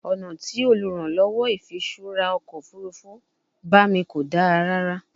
Ọna ti oluranlowo ifiṣura ọkọ ofurufu ba mi ko da rara